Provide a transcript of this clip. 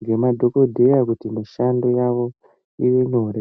ngemadhokodheya kuti mishando yavo ive nyore.